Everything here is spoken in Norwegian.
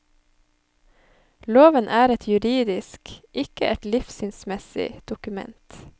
Loven er et juridisk, ikke et livssynsmessig, dokument.